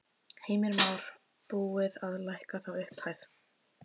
Heimir Már: Búið að lækka þá upphæð?